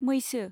मैसो